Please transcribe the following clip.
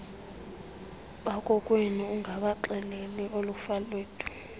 bakokwenu ungabaxeleli oolifalethu